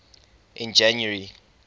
in january